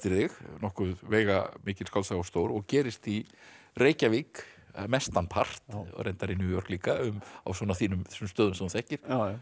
þig nokkuð veigamikil skáldsaga og stór og gerist í Reykjavík mestanpart og reyndar í New York líka á þessum stöðum sem þú þekkir